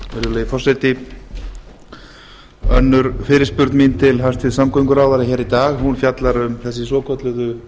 virðulegi forseti önnur fyrirspurn mín til hæstvirts samgönguráðherra hér í dag fjallar um þessi svokölluðu